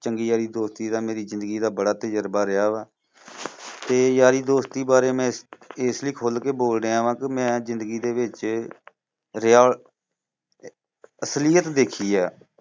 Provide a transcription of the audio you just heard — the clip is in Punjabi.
ਚੰਗੀ ਯਾਰੀ ਦੋਸਤੀ ਦਾ ਮੇਰੀ ਜ਼ਿੰਦਗੀ ਦਾ ਬੜਾ ਤੁਜਰਬਾ ਰਿਹਾ ਵਾ। ਤੇ ਯਾਰੀ ਦੋਸਤੀ ਬਾਰੇ ਮੈਂ ਇਸ ਲਈ ਖੁੱਲ ਕ ਬੋਲ ਰਿਹਾ ਵਾ ਕਿਉਂਕਿ ਮੈਂ ਜ਼ਿੰਦਗੀ ਦੇ ਵਿੱਚ ਰਿਹਾ ਅਸਲੀਅਤ ਦੇਖੀ ਆ।